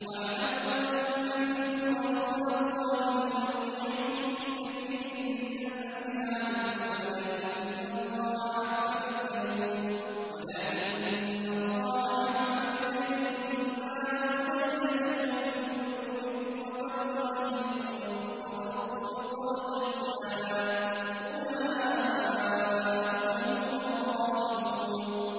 وَاعْلَمُوا أَنَّ فِيكُمْ رَسُولَ اللَّهِ ۚ لَوْ يُطِيعُكُمْ فِي كَثِيرٍ مِّنَ الْأَمْرِ لَعَنِتُّمْ وَلَٰكِنَّ اللَّهَ حَبَّبَ إِلَيْكُمُ الْإِيمَانَ وَزَيَّنَهُ فِي قُلُوبِكُمْ وَكَرَّهَ إِلَيْكُمُ الْكُفْرَ وَالْفُسُوقَ وَالْعِصْيَانَ ۚ أُولَٰئِكَ هُمُ الرَّاشِدُونَ